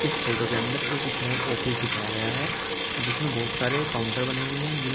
इस फोटो के अंदर एक स्माल ऑफिस दिखाया गया है जिसमे बहुत सारे काउंटर बने हुए है जिनमे--